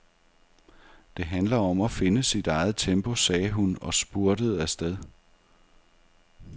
Det handler om at finde sit eget tempo, sagde hun og spurtede afsted.